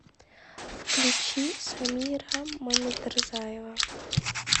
включи самира мамедрзаева